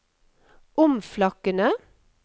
omflakkende